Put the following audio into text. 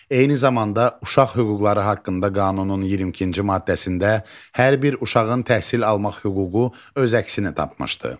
Eyni zamanda Uşaq hüquqları haqqında qanunun 22-ci maddəsində hər bir uşağın təhsil almaq hüququ öz əksini tapmışdır.